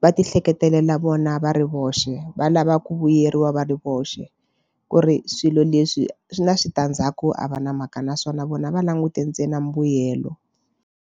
va tihleketelela vona va ri voxe va lava ku vuyeriwa va ri voxe ku ri swilo leswi swi na switandzhaku a va na mhaka naswona vona va langute ntsena mbuyelo.